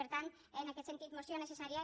per tant en aquest sentit moció necessària